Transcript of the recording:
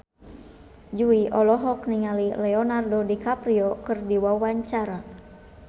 Jui olohok ningali Leonardo DiCaprio keur diwawancara